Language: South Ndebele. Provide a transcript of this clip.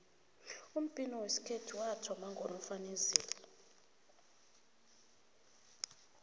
umbhino wesikhethu wathoma ngonofanezile